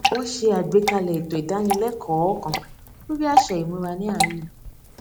wọ́n s̩e àgbékalè̩ ètò ìdánilẹ́kọ̀ọ́ kan lórí àṣà ìmúra ní àárín ìlú